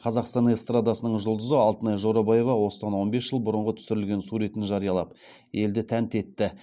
қазақстан эстрадасының жұлдызы алтынай жорабаева осыдан он бес жыл бұрынғы түсірілген суретін жариялап елді тәнті етті